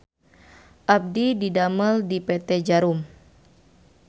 Abdi didamel di PT Djarum